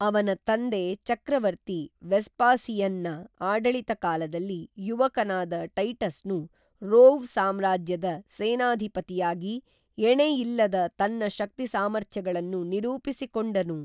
ಅವನ ತಂದೆ ಚಕ್ರವರ್ತಿ ವೆಸ್ಪಾಸಿಯನ್‌ನ ಆಡಳಿತ ಕಾಲದಲ್ಲಿ ಯುವಕನಾದ ಟೈಟಸ್‌ನು ರೋವ್‌ ಸಾಮ್ರಾಜ್ಯದ ಸೇನಾಧಿಪತಿಯಾಗಿ ಎಣೆ ಇಲ್ಲದ ತನ್ನ ಶಕ್ತಿ ಸಾಮರ್ಥ್ಯಗಳನ್ನು ನಿರೂಪಿಸಿಕೊಂಡನು